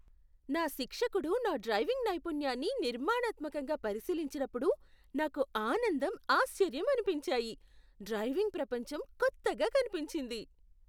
నా శిక్షకుడు నా డ్రైవింగ్ నైపుణ్యాన్ని నిర్మాణాత్మకంగా పరిశీలించినప్పుడు నాకు ఆనందం, ఆశ్చర్యం అనిపించాయి. డ్రైవింగ్ ప్రపంచం కొత్తగా కనిపించింది.